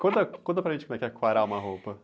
Conta, conta para gente como é quarar uma roupa.